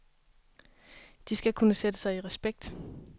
De skal kunne sætte sig i respekt.